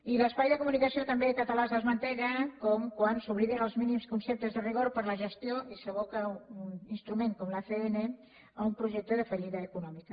i l’espai de comunicació català també es desmantella quan s’obliden els mínims conceptes de rigor per a la gestió i s’aboca un instrument com l’acn a un projecte de fallida econòmica